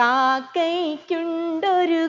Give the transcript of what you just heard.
കാക്കയ്ക്കുണ്ടൊരു